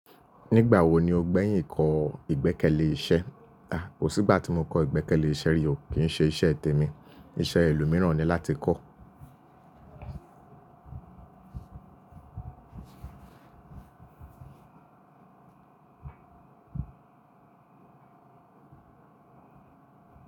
Nígbà wo ni o gbẹ̀yìn kọ́ ìgbẹ́kẹ̀lé iṣẹ́? À, kò sí ìgbà tí mo kọ́ ìgbẹ́kẹ̀lé iṣẹ́ rí o. Ki n se iṣẹ temi? Iṣẹ́ ẹlòmíràn ni láti kọ́.